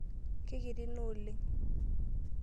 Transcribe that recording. Kekiti ina oleng.